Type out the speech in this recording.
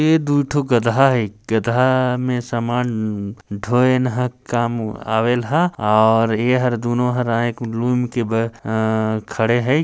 ए दुइ ठो गधा हे गधा में समान ढोए न हा काम आवेल ह और एहर दूनों हर आय एक ब्लून के बल खड़े है।